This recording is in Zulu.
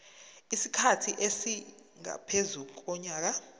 isikhathi esingaphezu konyaka